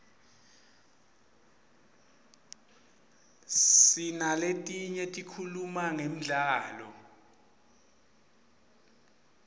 sinaletinye tikhuluma ngemdlalo